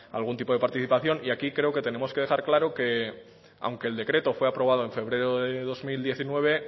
algún tipo de participación y aquí creo que tenemos que dejar claro que aunque el decreto fue aprobado en febrero de dos mil diecinueve